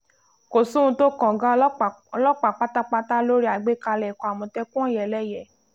kò sóhun tó kan ọ̀gá ọlọ́pàá ọlọ́pàá pátápátá lórí àgbékalẹ̀ ikọ̀ amòtẹ́kùn -òyẹléye